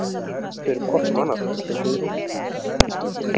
Þau eru hvort sem annað, þau Guðrún.